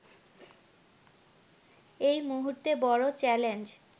এ মুহূর্তে বড় চ্যালেঞ্জ